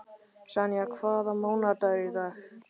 Senía, hvaða mánaðardagur er í dag?